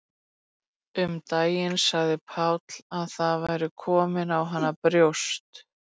Um daginn sagði Páll að það væru komin á hana brjóst.